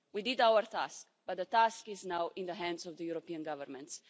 We did our task, but the task is now in the hands of the European governments.